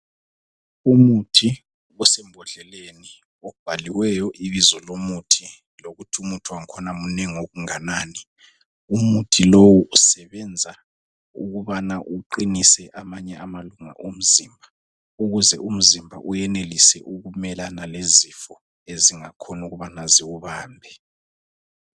Umuthi osembodleleni obhaliweyo ibizo lomuthi lokuthi umuthi wangkhona munengi okunganani. Umuthi lowu usebenza ukubana uqinise amanye amalunga omzimba ukuze umzimba uyenelise ukumelana lezifo ezingakhona ukubana ziwubambe.